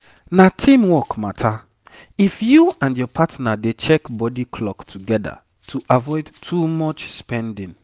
na teamwork matter if you and your partner dey check body clock together to avoid too much spending